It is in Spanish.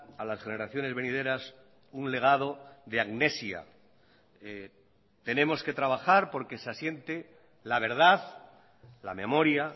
a las generaciones venideras un legado de amnesia tenemos que trabajar porque se asiente la verdad la memoria